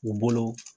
U bolo